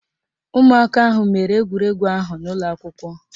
Ụmụaka ahụ mere egwuregwu ahụ n'ụlọakwụkwọ